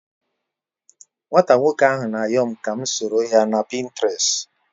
Nwata nwoko ahu na ayom ka m soroya na Pinterest